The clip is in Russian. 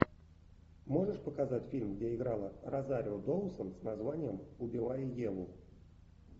можешь показать фильм где играла розарио доусон с названием убивая еву